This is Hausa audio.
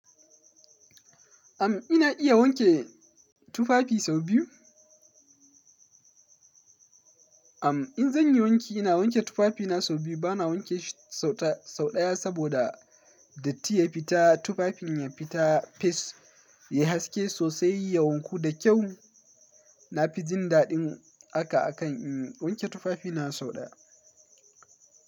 Am ina iya wanke tufafi sau biyu. Am in zan yi wanki ina wanke tufafina sau biyu. Bana wanke shi sau ɗaya saboda datti ya fita. Tufafin ya fita fes, ya haske sosai. Ya wanku da kyau. Na fi jin daɗin haka akan in wanke tufafina sau ɗaya.